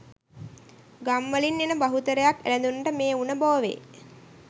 ගම් වලින් එන බහුතරයක් එළදෙනුන්ට මේ උණ බෝවේ.